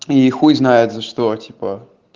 и хуй знает за что типа